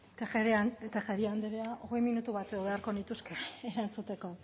tejeria andrea hogei minutu beharko nituzke erantzuteko